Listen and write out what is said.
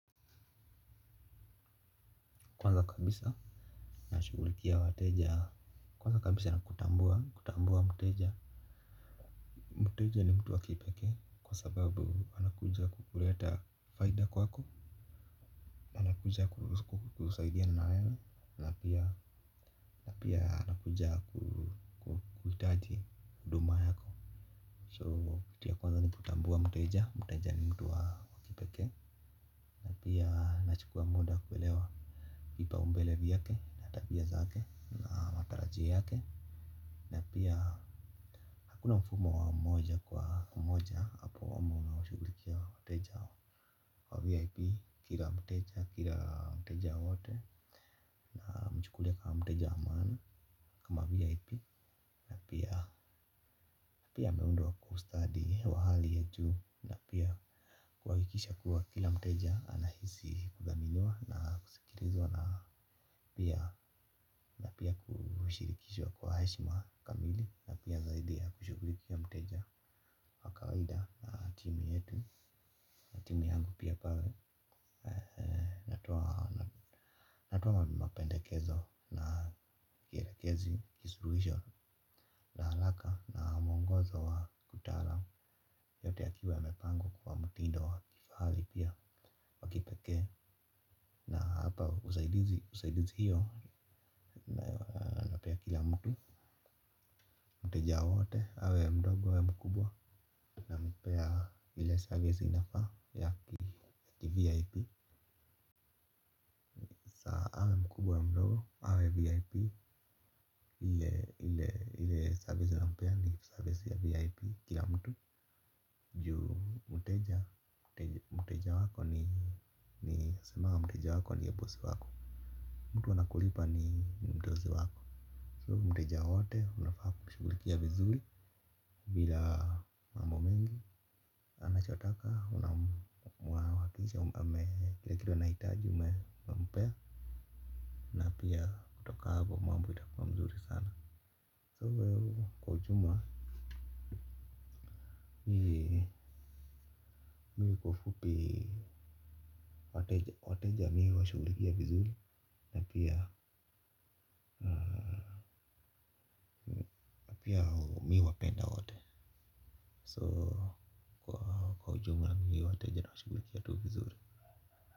Kwanza kabisa. Nashughulikia wateja. Kwanza kabisa na kutambua kutambua mteja. Muteja ni mtu wa kipekee. Kwa sababu anakuja kukuleta faida kwako. Anakuja kusaidia na wewe napia anakuja kuhitaji huduma yako So kitu ya kwanza ni kutambua mteja. Mteja ni mtu wa kipekee na pia nachukua muda kuelewa vipaumbele vyake na tabia zake na mataraji yake na pia hakuna mfumo wa moja kwa moja apoamo shughulikia wateja wa VIP kila mteja kila mteja wote na mchukulia kama mteja wa maana. Kama VIP, na pia pia ameundwa kustadi wa hali ya juu na pia kuhakikisha kuwa kila mteja anahisi kudhaminiwa na kusikirizwa na pia na pia kushirikishwa kwa hashima kamili. Na pia zaidi ya kushugulikia mteja kawaida timu yetu. Na timu yangu pia pale Natoa Natoa mapendekezo na kielekezi. Kisuruhisho na halaka na mwongozo wa kutara. Yote ya kiwa ya mepangwa kwa mtindo wa kifahali pia wa kipekee. Na hapa usaidizi usaidizi hiyo nayo napea kila mtu. Mteja wote awe mdogo awe mkubwa. Na mpea ile service inafa ya kivip mkubwa awe mdogo awe vip ile ile servizi na mpea ni servizi ya vip kila mtu juu mteja mteja wako ni ni semanga mteja wako ndiye boss wako mtu anakulipa ni mdozi wako so mteja wote unafaa kushughulikia vizuri bila mambo mingi anachotaka unam wakiisha kile anahitaji ume mpea na pia kutoka apo mambo ita kuwa mzuri sana so wewe kwa ujuma Mi kwa ufupii wateja mi huwa shugulikia vizuri na pia na pia mi huwapenda wate soo. Na mi wateja na wa shugulikia tu vizuri.